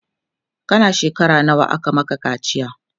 kana shekara nawa aka Maka kaciya?